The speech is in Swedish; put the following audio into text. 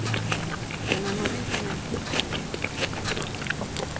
Men han håller inte med kritikerna.